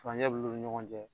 Furancɛ bil'u ni ɲɔgɔn cɛ